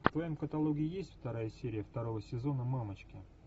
в твоем каталоге есть вторая серия второго сезона мамочки